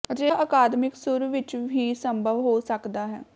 ਅਜਿਹਾ ਅਕਾਦਮਿਕ ਸੁਰ ਵਿਚ ਹੀ ਸੰਭਵ ਹੋ ਸਕਦਾ ਹੈ